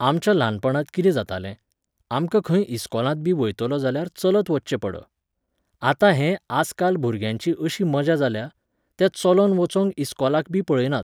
आमच्या ल्हानपणांत कितें जातालें, आमकां खंय इस्कोलांतबी वयतलो जाल्यार चलत वच्चें पड. आतां हें आयजकाल भुरग्यांचीं अशी मजा जाल्या, ते चलोन वचोंक इस्कोलाकबी पळयनात